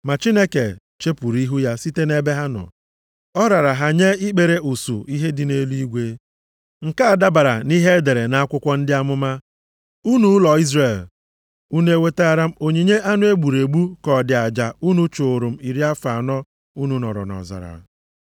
Ma Chineke chepuru ihu ya site nʼebe ha nọ. Ọ rara ha nye ikpere usuu ihe dị nʼeluigwe. + 7:42 Anyanwụ, ọnwa na kpakpando dị iche iche Nke a dabara nʼihe e dere nʼakwụkwọ ndị amụma, “ ‘Unu ụlọ Izrel, unu o wetara m onyinye anụ e gburu egbu ka ọ dị aja + 7:42 Ọ bụ aja unu chụrụ m unu chụụrụ m iri afọ anọ unu nọrọ nʼọzara?